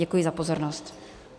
Děkuji za pozornost.